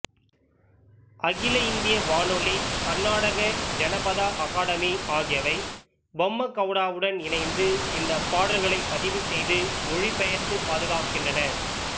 அகில இந்திய வானொலி கர்நாடக ஜனபதா அகாடமி ஆகியவை பொம்மகவுடாவுடன் இணைந்து இந்த பாடல்களைப் பதிவுசெய்து மொழிபெயர்த்து பாதுகாக்கின்றன